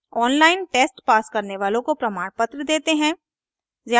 online test pass करने वालों को प्रमाणपत्र देते हैं